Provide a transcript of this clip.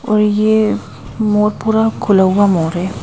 और ये मोर पूरा खुला हुआ मोर है।